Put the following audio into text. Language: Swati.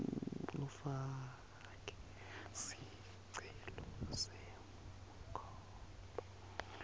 ufake sicelo senkhomba